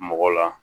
Mɔgɔ la